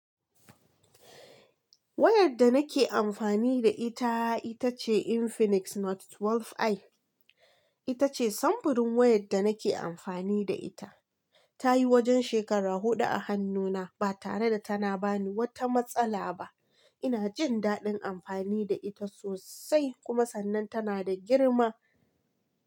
Wayar da nake amfani da ita ita ce Infinix Note 12i. Ita ce samfurin wayar da nake amfani da ita. Ta yi wajen shekara huɗu a hannuna ba tare da tana ba ni wata matsala ba. Ina jin daɗin amfani da ita sosai kuma sannan tana da girma.